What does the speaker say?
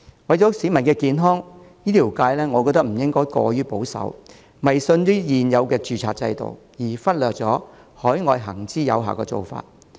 為了市民的健康，醫療界不應過於保守，迷信現有的註冊制度，而忽略海外行之有效的做法。